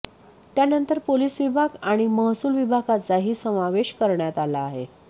त्यानंतर पोलिस विभाग आणि महसूल विभागाचाही समावेश करण्यात आला आहे